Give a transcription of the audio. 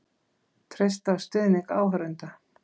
Treysta á stuðning áhorfenda